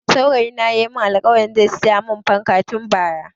Saurayi na ya mun alkawarin zai siya mun fanka tun Bara